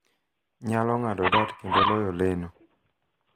nyalo ng�ado dart kendo loyo leno.